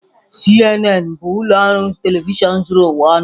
CNN bụ ụlọ ọrụ telivishọn zuru ụwa ọnụ.